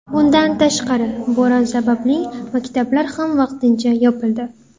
Bundan tashqari, bo‘ron sababli maktablar ham vaqtincha yopildi.